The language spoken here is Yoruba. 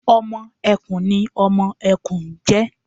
Ọmọ ẹkùn ni ọmọ ẹkùn ń jẹ́